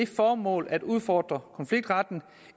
formål at udfordre konfliktretten